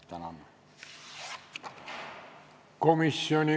Tänan!